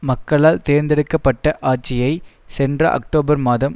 மக்களால் தேர்ந்தெடுக்க பட்ட ஆட்சியை சென்ற அக்டோபர் மாதம்